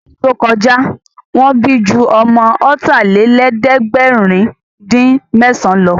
Ní ọdún tó kọjá, Wọ́n bí ju ọmọ ọ̀tàlélẹ̀ẹ̀dẹ́gbèrin-dín-mẹ́san lọ